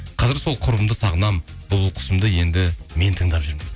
қазір сол құрбымды сағынамын бұлбұл кұсымды енді мен тыңдап жүрмін